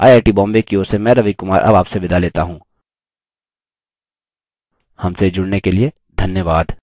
I I T Bombay की ओर से मैं रवि कुमार अब आपसे विदा लेता हूँ हमसे जुड़ने के लिए धन्यवाद